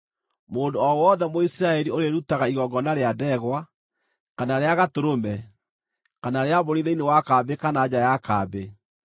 Mũndũ o wothe Mũisiraeli ũrĩĩrutaga igongona rĩa ndegwa, kana rĩa gatũrũme, kana rĩa mbũri thĩinĩ wa kambĩ kana nja ya kambĩ,